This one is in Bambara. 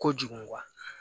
Kojugu